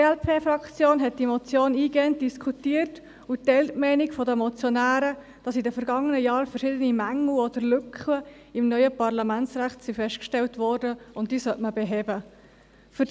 Sie teilt die Meinung der Motionäre, dass in den vergangenen Jahren verschiedene Mängel oder Lücken im neuen Parlamentsrecht festgestellt wurden und dass man diese beheben sollte.